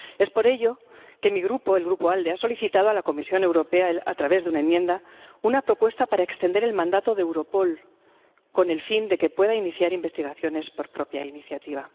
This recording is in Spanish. Por ello, mi Grupo —el Grupo ALDE— ha solicitado a la Comisión Europea, a través de una enmienda, una propuesta para extender el mandato de Europol, con el fin de que pueda iniciar investigaciones por propia iniciativa.